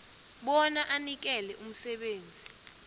bona anikele umsebenzi